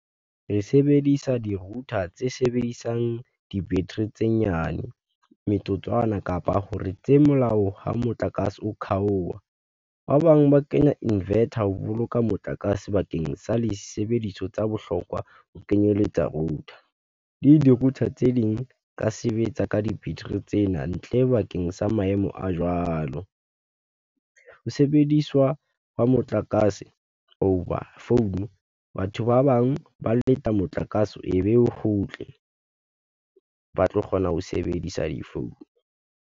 Re sebedisa di-router tse sebedisang di-battery tse nyane metsotswana kapa hore tse molao ha motlakase o kgaoha. Ba bang ba kenya invetor ho boloka motlakase bakeng sa di sebediso tsa bohlokwa ho kenyeletsa router di-router tse ding ka sebetsa ka di-battery tsena ntle bakeng sa maemo a jwalo, ho sebediswa hwa motlakase hoba phone batho ba bang ba leta motlakase e be o kgutle, ba tlo kgona ho sebedisa difounu.